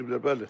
Düz eləyiblər.